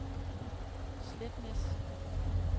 Sletnæs